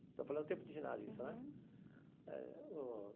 Estou falando do tempo de ginásio, isso, né? Eh o.